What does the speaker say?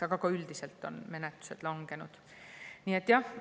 Aga ka üldiselt on menetluste langenud.